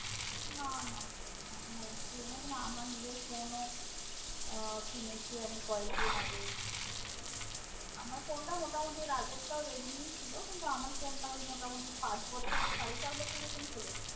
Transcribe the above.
না না আমার নিজের phone ও কিনেছি আমি কয়েকদিন আগে আমার phone তা মোটা মতি আগের তা redmi ছিল কিন্তু আমার phone তা এই মোটামোটি পাঁচ বছর সাড়ে চার বছর চলেছিল